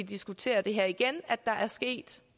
diskuterer det her igen er sket